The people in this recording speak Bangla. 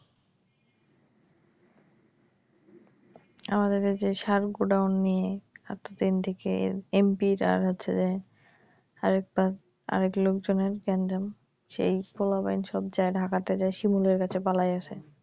আমাদের এইযে শাল গোডাউন নিয়ে এমডিকে এমপিরা হচ্ছে যে আরেক বার আরেক লোকজনের গ্যান্জাম সেই পোলাপইন সব যাইয়া ঢাকাতে যাইয়া শিমুলের কাছে পালাইয়া আছে